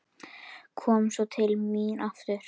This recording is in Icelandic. Kom svo til mín aftur.